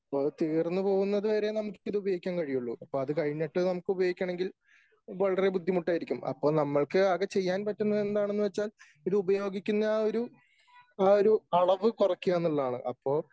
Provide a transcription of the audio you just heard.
അപ്പോ അത് തീർന്നു പോകുന്നത് വരെ നമുക്കിത് ഉപയോഗിക്കാൻ കഴിയുള്ളു . അപ്പോ അത് കഴിഞ്ഞിട്ട് നമുക്ക് ഉപയോഗിക്കണമെങ്കിൽ വളരെ ബുദ്ധിമുട്ടായിരിക്കും. അപ്പോ നമ്മൾക്ക് ആകെ ചെയ്യാൻ പറ്റുന്നത് എന്താണെന്ന് വച്ചാൽ ഇത് ഉപയോഗിക്കുന്ന ഒരു ആ ഒരു അളവ് കുറയ്ക്കുക എന്നുള്ളതാണ്. അപ്പോ